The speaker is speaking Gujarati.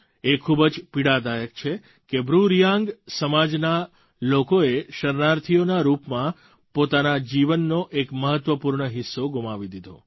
એ ખૂબ જ પીડાદાયક છે કે બ્રૂ રિયાંગ સમાજના લોકોએ શરણાર્થીઓના રૂપમાં પોતાના જીવનનો એક મહત્ત્વપૂર્ણ હિસ્સો ગુમાવી દીધો